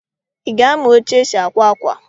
Ị ga-amụ etu esi àkwá ákwà?